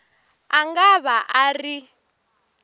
a nga va a ri